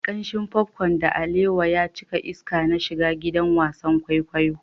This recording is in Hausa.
Kamshin popcorn da alewa ya cika iska na shiga gidan wasan kwaikwayo.